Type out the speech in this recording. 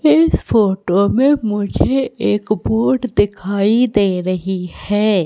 इस फोटो में मुझे एक बोट दिखाई दे रही है।